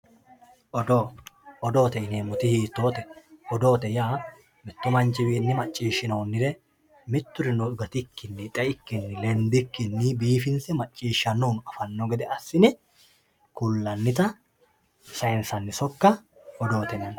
Odoo, odoote yinemo woyite hiitote odoote yaa miyu manchiwinni maccishinonirr miturinno gatikkinni xe'ikkinni lendikinni biifinse maccishshanohunno afano gede assine kulanita dayinsanni sokka odoote yinanni